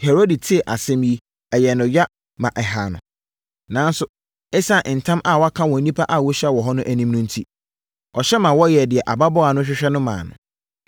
Herode tee asɛm yi no, ɛyɛɛ no ya, ma ɛhaa no. Nanso, ɛsiane ntam a waka wɔ nnipa a wɔahyia hɔ no anim no enti, ɔhyɛ ma wɔyɛɛ deɛ ababaawa no hwehwɛ no maa no.